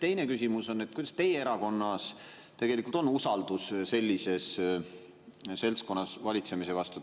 Teine küsimus on, et kuidas teie erakonnas tegelikult on usaldusega valitsemises vastu koos sellise seltskonnaga.